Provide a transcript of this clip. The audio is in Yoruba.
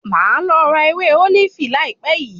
Màá lọ ra ewé ólífì láìpẹ́ yìí.